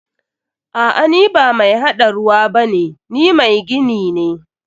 A'a, ni ba mai haɗa ruwa bane, ni mai gini ne.